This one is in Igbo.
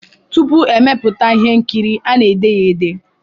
Tupu e mepụta ihe nkiri a na-ede ya ede